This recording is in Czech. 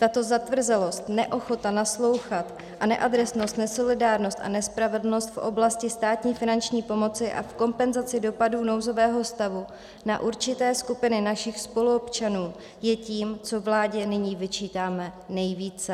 Tato zatvrzelost, neochota naslouchat a neadresnost, nesolidárnost a nespravedlnost v oblasti státní finanční pomoci a v kompenzaci dopadů nouzového stavu na určité skupiny našich spoluobčanů je tím, co vládě nyní vyčítáme nejvíce.